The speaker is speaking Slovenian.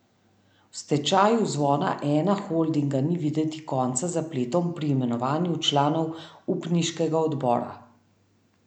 V stečaju Zvona Ena Holdinga ni videti konca zapletom pri imenovanju članov upniškega odbora.